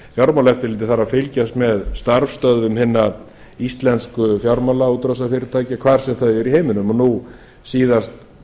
fjármálaeftirlitið þarf að fylgjast með starfsstöðvum hinna íslensku fjármálaútrásarfyrirtækja hvar sem þau eru í heiminum og nú síðast